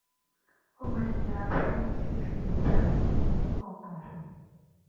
ó máa ń yẹra fún fífi ìdààmú ọkàn hàn